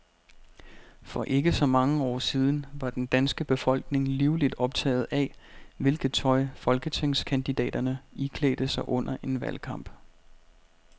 For ikke så mange år siden var den danske befolkning livligt optaget af, hvilket tøj folketingskandidaterne iklædte sig under en valgkamp.